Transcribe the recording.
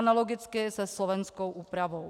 Analogicky se slovenskou úpravou.